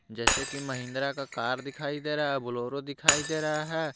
जैसे कि महिंद्रा का कार दिखाई दे रहा है बोलेरो दिखाई दे रहा है।